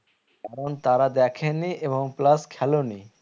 এমন তারা দেখে নি এবং plus খেলেও নি